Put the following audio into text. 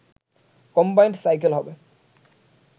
combined cycle হবে